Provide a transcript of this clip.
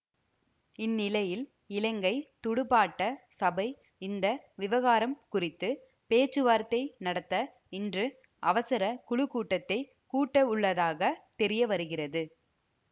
இந் நிலையில் இலங்கை துடுப்பாட்ட சபை இந்த விவகாரம் குறித்து பேச்சுவார்த்தை நடத்த இன்று அவசர குழுக்கூட்டத்தை கூட்டவுள்ளதாக தெரிய வருகிறது